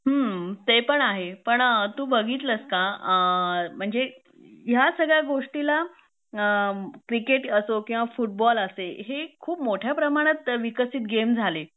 हम्म ते पण आहे पण तू बघितलंस का अ म्हणजे ह्या सगळ्या गोष्टीला क्रिकेट असो किंवा फुटबॉल असे हे खूप मोठ्या प्रमाणात विकसित गेम झाले